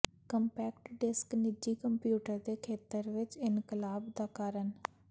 compact disc ਨਿੱਜੀ computer ਦੇ ਖੇਤਰ ਵਿੱਚ ਇਨਕਲਾਬ ਦਾ ਕਾਰਨ